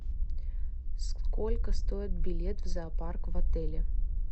сколько стоит билет в зоопарк в отеле